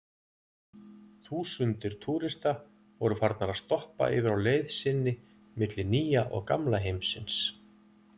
Þúsundir túrista voru farnar að stoppa yfir á leið sinni milli Nýja og Gamla heimsins.